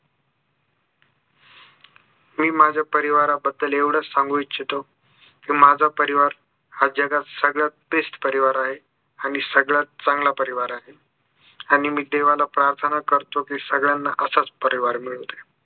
मी माझ्या परिवाराबद्दल एवढाच सांगू इच्छितो कि माझा परिवार हा जगात सगळ्यात best परिवार आहे आणि सगळ्यात चांगला परिवार आहे आणि मी देवाला प्रार्थना करतो कि सगळ्यांना असाच परिवार मिळू दे